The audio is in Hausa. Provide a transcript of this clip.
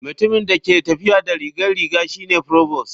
Mutumin da ke tafiya da rigar riga shi ne provost.